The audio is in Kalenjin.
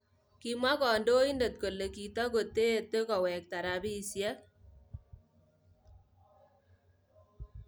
Kimwaa kandoindet kole kitakoteete koweekta rabisieek